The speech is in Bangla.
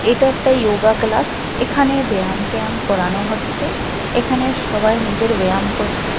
এটা একটা ইয়োগা ক্লাস এখানে ব্যায়াম ট্যায়াম করানো হচ্ছে এখানে সবাই নিজের ব্যায়াম করছে।